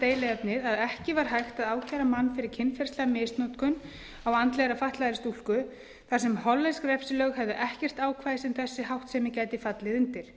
deiluefnið að ekki var hægt að ákæra mann fyrir kynferðislega misnotkun á andlega fatlaðri stúlku þar sem hollensk refsilög höfðu ekkert ákvæði sem þessi háttsemi gæti fallið undir